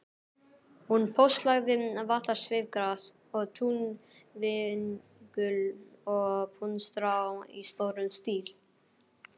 Hún póstlagði vallarsveifgras og túnvingul og puntstrá í stórum stíl.